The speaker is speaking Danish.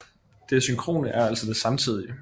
Det synkrone er altså det samtidige